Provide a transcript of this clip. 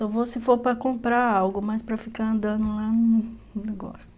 Só vou se for para comprar algo, mas para ficar andando lá, não gosto.